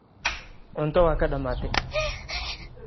Cunto waa kaa dhammaatay.